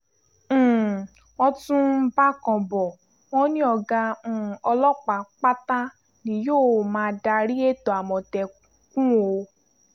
um wọ́n tún ń bákan bò wọ́n ní ọ̀gá um ọlọ́pàá pátá ni yóò máa darí ètò àmọ̀tẹ́kùn o